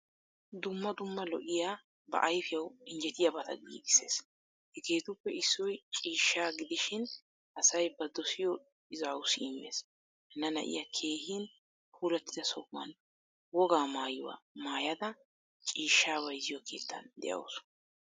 dumma dumma lo"iya ba ayfiyawu injjettiyabata giigisees. Hageettuppe issoy ciishshaa gidishin asay ba dosiyo izawussi immees. Hanna na"iyaa keehin puulattida sohuwan wogaa maayuwaa maayada ciishshaa bayzziyo keettan deawusu.